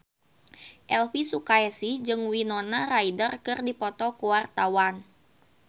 Elvy Sukaesih jeung Winona Ryder keur dipoto ku wartawan